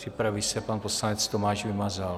Připraví se pan poslanec Tomáš Vymazal.